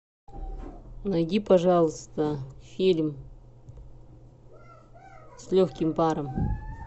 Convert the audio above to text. найди пожалуйста фильм с легким паром